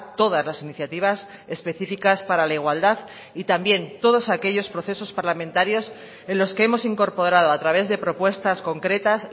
todas las iniciativas específicas para la igualdad y también todos aquellos procesos parlamentarios en los que hemos incorporado a través de propuestas concretas